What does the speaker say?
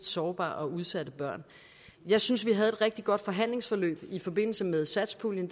sårbare og udsatte børn jeg synes vi havde et rigtig godt forhandlingsforløb i forbindelse med satspuljen